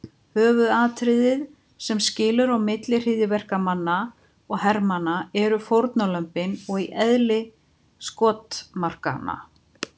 Höfuðatriðið sem skilur á milli hryðjuverkamanna og hermanna eru fórnarlömbin og eðli skotmarkanna.